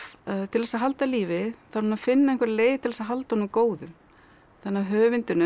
til þess að halda lífi þarf hún að finna einhverja leið til þess að halda honum góðum þannig að höfundinum Simone